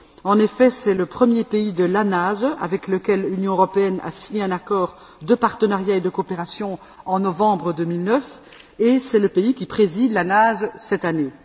En effet, c'est le premier pays de l'ANASE avec lequel l'Union européenne a signé un accord de partenariat et de coopération en novembre 2009, et c'est le pays qui préside l'ANASE cette année.